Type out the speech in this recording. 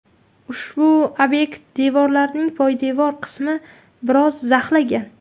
Ushbu obyekt devorlarining poydevor qismi biroz zaxlagan.